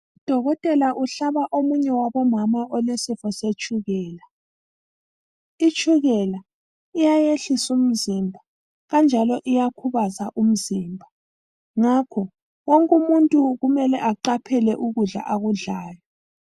Udokotela uhlaba omunye wabomama olesifo setshukela. Itshukela iyayehlisa umzimba kanjalo iyakhubaza umzimba. Ngakho wonke umuntu kumele aqaphele ukudla akudlayo.